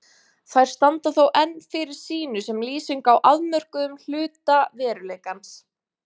Þær standa þó enn fyrir sínu sem lýsing á afmörkuðum hluta veruleikans.